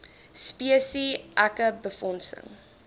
spesi eke befondsing